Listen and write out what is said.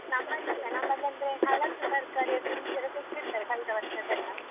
ನಮ್ಮಲಿಸ ನಮ್ಮಲಿ ಅಂದ್ರೆ ಹಳತ್ತು ತರ್ಕಾರಿದ್ದು ಬೀಜ ಎಲ್ಲ ತೆಗ್ದಿಡ್ತಾರೆ ಕಳೆದ ವರ್ಷದ್ದೆಲ್ಲಾ.